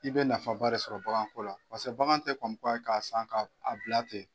I bɛ nafaba de sɔrɔ baganko la bagan tɛ k'a san ka a bila ten